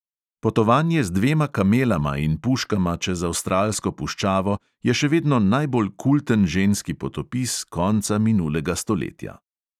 Potovanje z dvema kamelama in puškama čez avstralsko puščavo je še vedno najbolj kulten ženski potopis konca minulega stoletja.